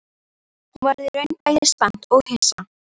Hún varð í raun bæði spennt og hissa